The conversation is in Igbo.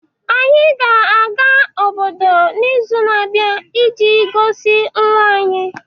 Anyị ga-aga obodo n’izu na-abịa iji gosi nwa anyị.